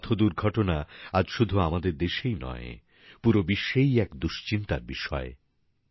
পথ দুর্ঘটনা আজ শুধু আমাদের দেশেই নয় পুরো বিশ্বেই এক দুশ্চিন্তার বিষয়